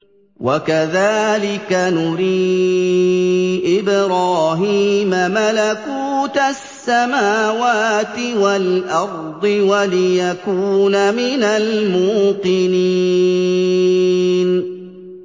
وَكَذَٰلِكَ نُرِي إِبْرَاهِيمَ مَلَكُوتَ السَّمَاوَاتِ وَالْأَرْضِ وَلِيَكُونَ مِنَ الْمُوقِنِينَ